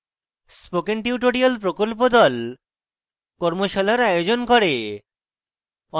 spoken tutorial প্রকল্প the কর্মশালার আয়োজন করে